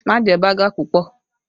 Má jẹ baga pupọ!